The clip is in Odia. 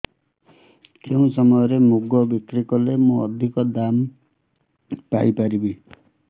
କେଉଁ ସମୟରେ ମୁଗ ବିକ୍ରି କଲେ ମୁଁ ଅଧିକ ଦାମ୍ ପାଇ ପାରିବି